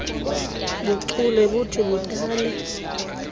buchule buthi budale